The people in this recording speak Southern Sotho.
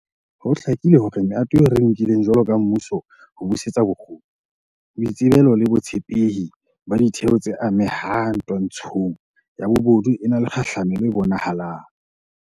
Ho hlakile hore mehato eo re e nkileng jwalo ka mmuso ho busetsa bokgoni, boitsebelo le botshepehi ba ditheo tse amehang twantshong ya bobodu e na le kgahlamelo e bonahalang.